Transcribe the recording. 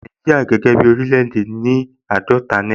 Nàìjíríà gẹ́gẹ́ bí oríléèdè ní owó àádọ́ta náírà